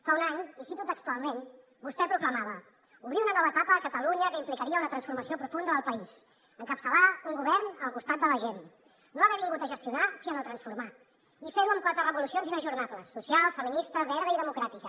fa un any i ho cito textualment vostè proclamava obrir una nova etapa a catalunya que implicaria una transformació profunda del país encapçalar un govern al costat de la gent no haver vingut a gestionar sinó a transformar i fer ho amb quatre revolucions inajornables social feminista verda i democràtica